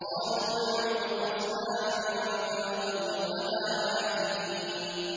قَالُوا نَعْبُدُ أَصْنَامًا فَنَظَلُّ لَهَا عَاكِفِينَ